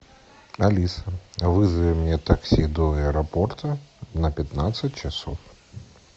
алиса вызови мне такси до аэропорта на пятнадцать часов